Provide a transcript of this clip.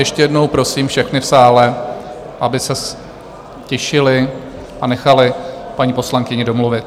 Ještě jednou prosím všechny v sále, aby se ztišili a nechali paní poslankyni domluvit.